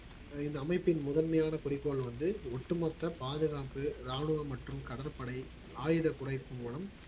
இந்த அமைப்பின் முதன்மையான குறிக்கோள் வந்து ஒட்டுமொத்த பாதுகாப்பு ராணுவ மற்றும் கடற்படை ஆயுத குறைப்பு மூலம்